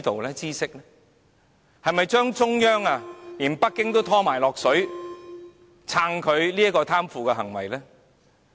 他是否想連中央和北京都想拖落水，去支持他這種貪腐行為？